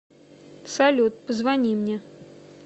салют позвони мне